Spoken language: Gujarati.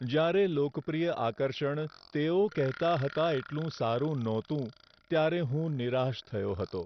જ્યારે લોકપ્રિય આકર્ષણ તેઓ કહેતા હતા એટલું સારું નહોતું ત્યારે હું નિરાશ થયો હતો.